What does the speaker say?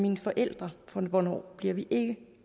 ens forældre for hvornår bliver vi ikke